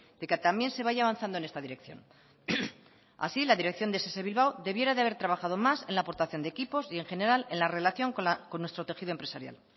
de que también se vaya avanzando en esta dirección así la dirección de ess bilbao debiera de haber trabajado más en la aportación de equipos y en general en la relación con nuestro tejido empresarial